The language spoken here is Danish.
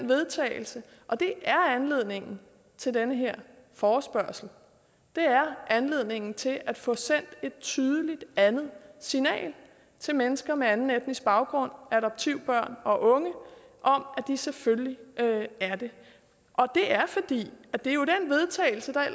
vedtagelse og det er anledningen til den her forespørgsel og det er anledningen til at få sendt et tydeligt andet signal til mennesker med anden etnisk baggrund adoptivbørn og unge om at de selvfølgelig er det og det er fordi det jo